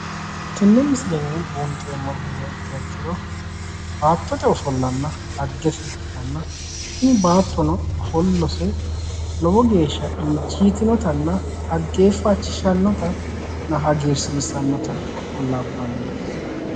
Tenne misilenni buunxeemmori heeriha ikkiha ikkiro baattote ofollanna dhaggese ikkitanna tini baattono ofollose lowo geeshsha injiitinotanna dhaggeeffachishshannotanna hagiirsiissannota labbanno.